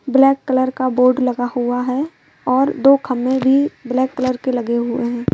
Black colour का board लगा हुआ है और दो खंबे भी ब्लैक कलर के लगे हुए हैं।